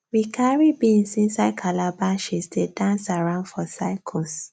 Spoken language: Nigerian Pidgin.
we carry beans inside calabashes dey dance around for circles